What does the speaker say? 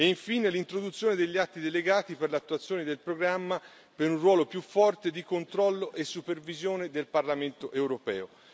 E infine l'introduzione degli atti delegati per l'attuazione del programma per un ruolo più forte di controllo e supervisione del Parlamento europeo.